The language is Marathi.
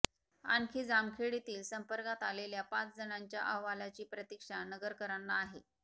आणखी जामखेड येथील संपार्कात आलेल्या पाच जणांच्या अहवालाची प्रतिक्षा नगरकरांना आहे